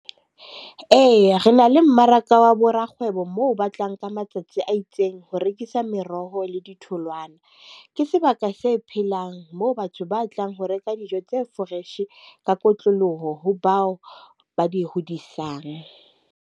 Eya re na le mmaraka wa bo rakgwebo, moo ba tlang ka matsatsi a itseng ho rekisa meroho le ditholwana. Ke sebaka se phelang moo batho ba tlang ho reka dijo tse fresh ka kotloloho ho bao ba di hodisang.